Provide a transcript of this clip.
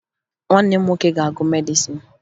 Nwanne m nwoke ga-agụ medịsịn